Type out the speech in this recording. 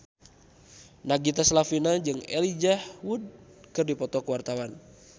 Nagita Slavina jeung Elijah Wood keur dipoto ku wartawan